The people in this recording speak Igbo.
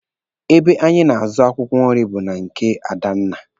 Ebe anyị na-azụ akwụkwọ nri bụ na nke Adanna.